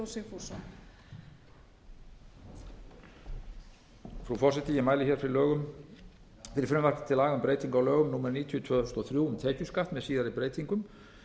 frú forseti ég mæli hér fyrir frumvarpi til laga um breytingu á lögum númer níutíu tvö þúsund og þrjú um tekjuskatt með síðari breytingum